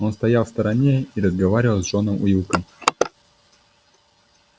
он стоял в стороне и разговаривал с джоном уилком